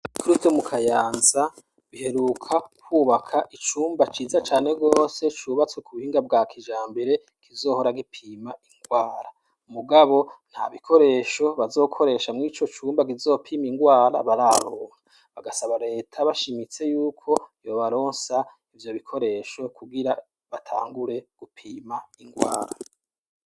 Kubitaro bikuru vyo mu Kayanza, biheruka kubaka icumba ciza cane rwose, cubatswe ku buhinga bwa kijambere, kizohora gipima indwara mugabo, nta bikoresho bazokoresha mw'ico cumba kizopima indwara bararonka. Bagasaba leta bashimitse y'uko yobaronsa ivyo bikoresho kugira batangure gupima indwara.